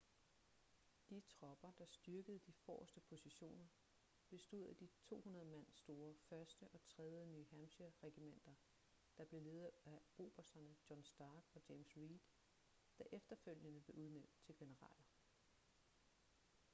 de tropper der styrkede de forreste positioner bestod af de to 200 mand store 1. og 3. new hampshire-regimenter der blev ledet af obersterne john stark og james reed der efterfølgende blev udnævnt til generaler